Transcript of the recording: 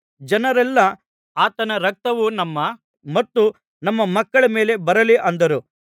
ಜನರೆಲ್ಲಾ ಆತನ ರಕ್ತವು ನಮ್ಮ ಮತ್ತು ನಮ್ಮ ಮಕ್ಕಳ ಮೇಲೆ ಬರಲಿ ಅಂದರು